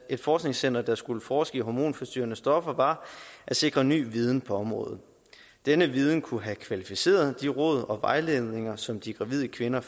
et forskningscenter der skulle forske i hormonforstyrrende stoffer var at sikre ny viden på området denne viden kunne have kvalificeret de råd og den vejledning som de gravide kvinder